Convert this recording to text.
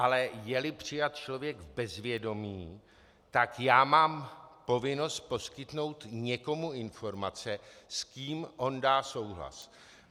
Ale je-li přijat člověk v bezvědomí, tak mám povinnost poskytnout někomu informace, s kým on dá souhlas.